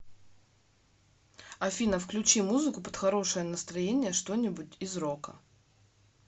афина включи музыку под хорошее настроение что нибудь из рока